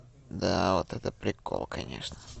да вот это прикол конечно